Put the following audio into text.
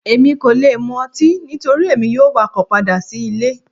Emi ko le mú ọtí nitori emi yoo wakọ pada si ile